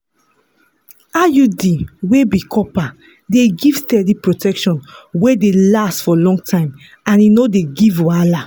iud wey be copper dey give steady protection wey dey last for long time and e no dey give wahala.